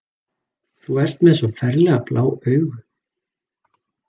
Þú ert með svo ferlega blá augu.